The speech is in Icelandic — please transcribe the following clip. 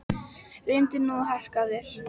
Reyndu nú að harka af þér